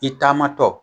I taamatɔ